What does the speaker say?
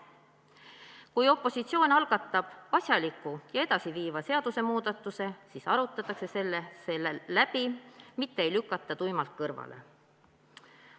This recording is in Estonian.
Kui opositsioon algatab asjaliku ja edasiviiva seadusemuudatuse, siis arutame selle läbi, mitte ei lükata tuimalt kõrvale.